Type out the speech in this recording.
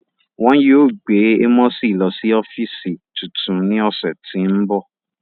Wọn yóò gbe Amosi lọ si ọfiisi tuntun ni ọsẹ ti n bọ.